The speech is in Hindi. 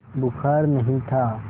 बुखार नहीं था